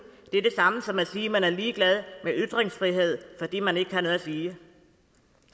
er det samme som at sige at man er ligeglad med ytringsfrihed fordi man ikke har noget at sige